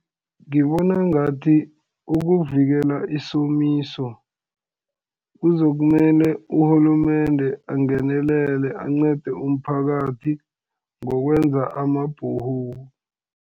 Ngibona ngathi ukuvikela isomiso, kuzokumele urhulumende angenelele ancede umphakathi, ngokwenza ama-Borehole.